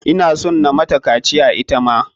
Ina son na mata kaciya ita ma.